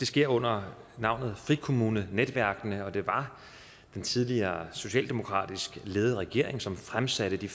sker under navnet frikommunenetværkene og det var den tidligere socialdemokratisk ledede regering som fremsatte det